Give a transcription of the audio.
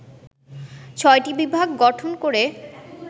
৬টি বিভাগ গঠন করে